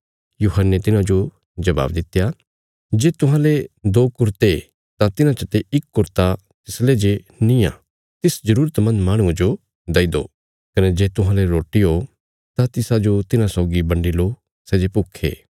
यूहन्ने तिन्हाजो जवाब दित्या जे तुहांले दो कुरते ओ तां तिन्हां चते इक कुरता तिसले जे निआं तिस ज़रुरतमन्द माहणुये जो देई दो कने जे तुहांले रोटी ओ तां तिसाजो तिन्हां सौगी बन्डी लो सै जे भुक्खे ओ